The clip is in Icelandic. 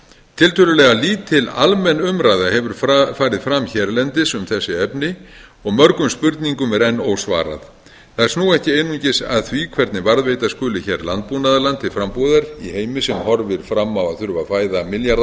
tiltölulega lítil almenn umræða hefur farið fram hérlendis um þessi efni og mörgum spurningum er enn ósvarað þær snúa ekki einungis að því hvernig varðveita skuli hér landbúnaðarland til frambúðar í heimi sem horfir fram á að þurfa að fæða milljarða